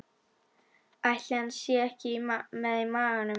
Ætli hann sé ekki með í maganum?